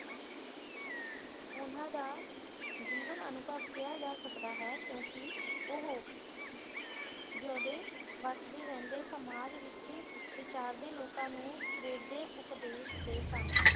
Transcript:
ਉਹਨਾਂ ਦਾ ਜੀਵਨ ਅਨੁਭਵ ਕਿਹਾ ਜਾਂ ਸਕਦਾ ਹੈ ਕਿਉਂਕਿ ਉਹ ਜਿਉਦੇ ਵਸਦੇ ਰਹਿੰਦੇ ਸਮਾਜ ਵਿੱਚ ਵਿਚਾਰਦੇ ਲੋਕਾ ਨੂੰ ਪ੍ਰੇਰਦੇ ਉਪਦੇਸ਼ ਦੇ ਸਨ।